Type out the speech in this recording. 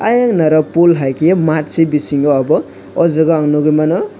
ayen naro pool haike matsi bisingo obo ojaga nogoi mano.